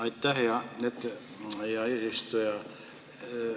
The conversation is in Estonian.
Aitäh, hea eesistuja!